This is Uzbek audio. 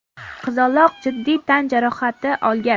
Qizaloq jiddiy tan jarohati olgan.